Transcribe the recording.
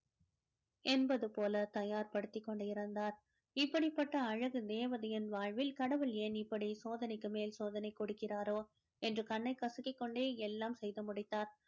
என்பது போல தயார் படுத்திக் கொண்டிருந்தார் இப்படிப்பட்ட அழகு தேவதையின் வாழ்வில் கடவுள் ஏன் இப்படி சோதனைக்கு மேல் சோதனை கொடுக்கிறாரோ என்று கண்ணை கசக்கிக் கொண்டே எல்லாம் செய்து முடித்தார்